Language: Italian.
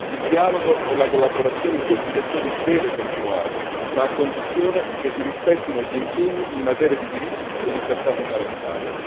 Il dialogo e la collaborazione in questi settori devono continuare, ma a condizione che si rispettino gli impegni in materia di diritti e libertà fondamentali.